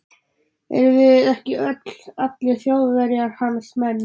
Erum við ekki öll, allir Þjóðverjar, hans menn.